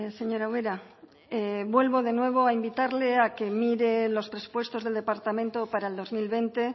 señora ubera vuelvo de nuevo a invitarle a que mire los presupuestos del departamento para el dos mil veinte